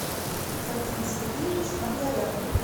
вадим сергеевич маргарян